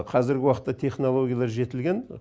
қазіргі уақытта технологиялар жетілген